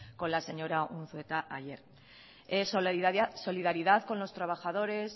con la señora unzueta ayer solidaridad con los trabajadores